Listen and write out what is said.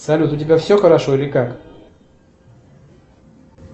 салют у тебя все хорошо или как